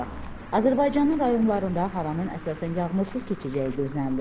Azərbaycanın rayonlarında havanın əsasən yağmursuz keçəcəyi gözlənilir.